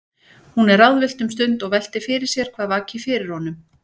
Hún er ráðvillt um stund og veltir fyrir sér hvað vaki fyrir honum.